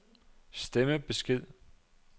stemmebesked